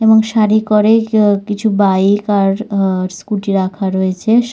এবং সারি করে কেও কিছু বাইক আর আ স্কুটি রাখা রয়েছে সা--